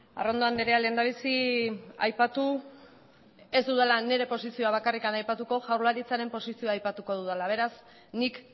arrondo andrea lehendabizi aipatu ez dudala nire posizioa bakarrik aipatuko jaurlaritzaren posizioa aipatuko dudala beraz nik